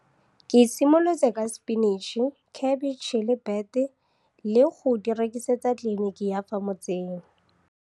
Ke simolotse ka sepinitšhi, khebetšhe le bete le go di rekisetsa kliniki ya fa motseng.